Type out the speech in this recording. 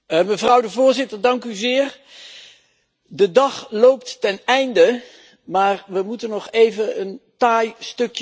De dag loopt ten einde, maar we moeten nog even een taai stukje kost verwerken op dit moment.